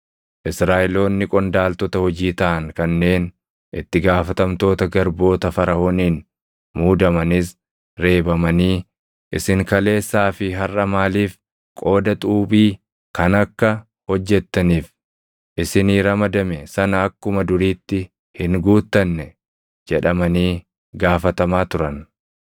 Israaʼeloonni qondaaltota hojii taʼan kanneen itti gaafatamtoota garboota Faraʼooniin muudamanis reebamanii, “Isin kaleessaa fi harʼa maaliif qooda xuubii kan akka hojjettaniif isinii ramadame sana akkuma duriitti hin guuttanne?” jedhamanii gaafatamaa turan.